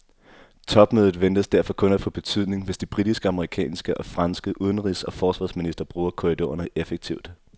Topmødet ventes derfor kun at få betydning, hvis de britiske, amerikanske og franske udenrigs og forsvarsministre bruger korridorerne effektivt.